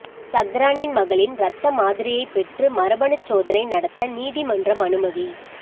சஹ்ரானின் மகளின் இரத்த மாதிரியைப் பெற்று மரபணுச் சோதனை நடத்த நீதிமன்றம் அனுமதி